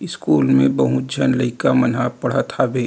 School में बहुत झन लइका मन ह पढ़त हवे।